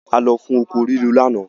A lọ fún oko rírò lánàá.